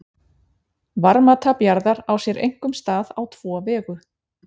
Varmatap jarðar á sér einkum stað á tvo vegu.